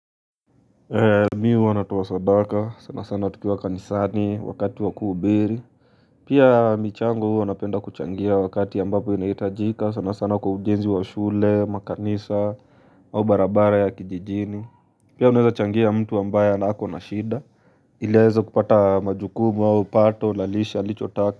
Mimi huwa natoa sadaka sana sana tukiwa kanisani wakati waku hubiri pia michango huwa napenda kuchangia wakati ambapo inahitajika sana sana kwa ujenzi wa shule makanisa au barabara ya kijijini pia unaweza changia mtu ambaye anako na shida ili aweze kupata majukumu au pato na lishe alicho taka. Kwa hivyo.